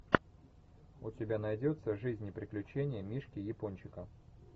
у тебя найдется жизнь и приключения мишки япончика